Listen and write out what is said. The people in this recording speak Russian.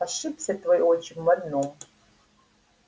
ошибся твой отчим в одном